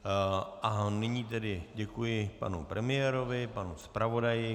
A nyní tedy děkuji panu premiérovi, panu zpravodaji.